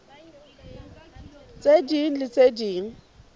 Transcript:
tse ding le tse ding